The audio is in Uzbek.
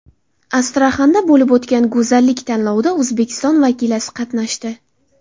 Astraxanda bo‘lib o‘tgan go‘zallik tanlovida O‘zbekiston vakilasi qatnashdi .